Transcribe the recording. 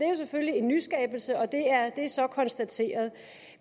er selvfølgelig en nyskabelse og det er så konstateret